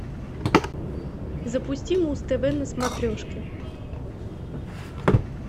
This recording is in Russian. запусти муз тв на смотрешке